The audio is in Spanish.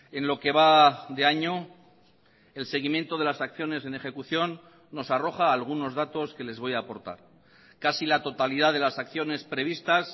en lo que va de año el seguimiento de las acciones en ejecución nos arroja algunos datos que les voy a aportar casi la totalidad de las acciones previstas